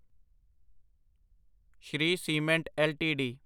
Shri Cement LTD